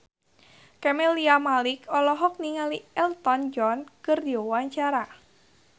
Camelia Malik olohok ningali Elton John keur diwawancara